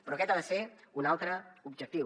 però aquest ha de ser un altre objectiu